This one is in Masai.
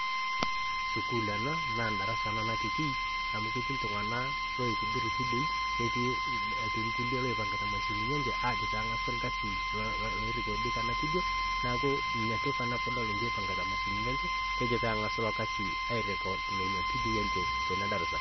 sukuul enaa naa endarasa ena natiki amu ketii iltunganak oitobirr vidioi etii ilkulie oipangita mashinini enye ajo pengásu ilkasi nirekodi tena vidio neaku natoki ena kejo pengasu ilo kasi airecord nena vidioi tena darasa